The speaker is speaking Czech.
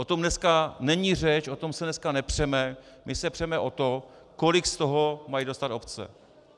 O tom dneska není řeč, o to se dneska nepřeme, my se přeme o to, kolik z toho mají dostat obce.